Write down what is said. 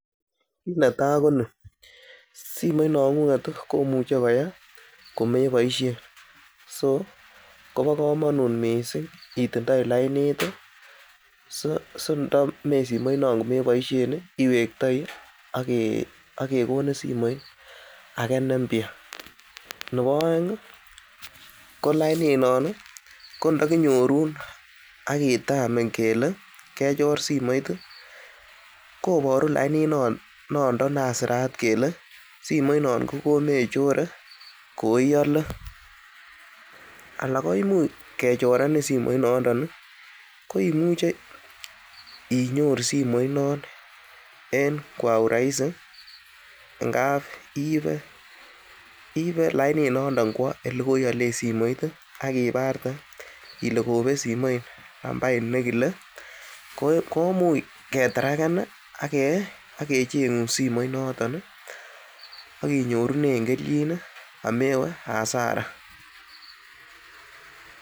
Netai koni, simoinong'ung'et komuche koyee komeboisien so kobo komonut mising itindoi lainit sindome simoinon komebosiien iwektoi ak kegonin simoit age ne mpya nebo oeng ko laininon kondokinyorun ak kitamin kele kechor simoit, koburo laininondon nan sirat kole simoit non kogomechore koiale, ala koimuch kechorenin simoit nondon koimuch inyoru simoit non en kwa urahis ngab iibe lainit nondon kwo ele koialen simoit ak ibarte ile kobet simoit nambait nekile komuch ketracken ak kecheng'un simoit noton ak inyorunen kelchin amewe hasara .